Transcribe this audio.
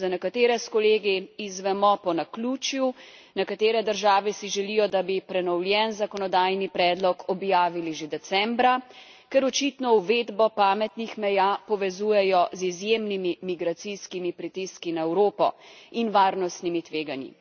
Za nekatere s kolegi izvemo po naključju, nekatere države si želijo, da bi prenovljen zakonodajni predlog objavili že decembra, ker očitno uvedbo pametnih meja povezujejo z izjemnimi migracijskimi pritiski na Evropo in varnostnimi tveganji.